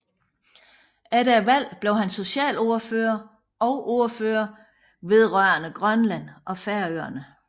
Efter valget blev han socialordfører og ordfører vedrørende Grønland og Færøerne